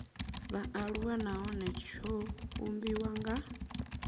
vhaaluwa nahone tsho vhumbiwa nga